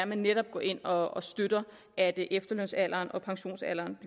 man netop går ind og støtter at efterlønsalderen og pensionsalderen